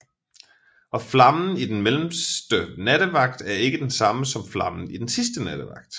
Og flammen i den mellemste nattevagt er ikke den samme som flammen i den sidste nattevagt